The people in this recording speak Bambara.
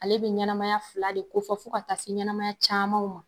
Ale be ɲɛnɛmaya fila de ko fɔ ka taa se ɲɛnɛmaya camanw ma